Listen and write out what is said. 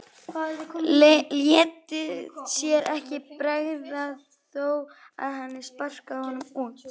Léti sér ekki bregða þó að hann sparkaði honum út.